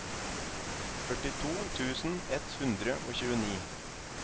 førtito tusen ett hundre og tjueni